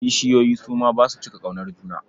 Kishiyoyi su ma ba su cika ƙaunar juna.